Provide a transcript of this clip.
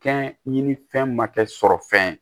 Kɛ ɲini fɛn ma kɛ sɔrɔ fɛn ye